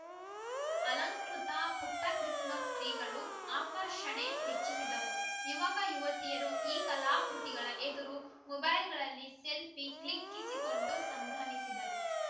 ಅಲಂಕೃತ ಪುಟ್ಟಕ್ರಿಸ್‌ಮಸ್‌ ಟ್ರೀಗಳು ಆಕರ್ಷಣೆ ಹೆಚ್ಚಿಸಿದವು ಯುವಕಯುವತಿಯರು ಈ ಕಲಾಕೃತಿಗಳ ಎದುರು ಮೊಬೈಲ್‌ಗಳಲ್ಲಿ ಸೆಲ್ಫಿ ಕ್ಲಿಕ್ಕಿಸಿಕೊಂಡು ಸಂಭ್ರಮಿಸಿದರು